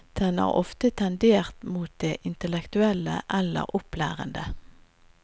Den har ofte tendert mot det intellektuelle eller opplærende.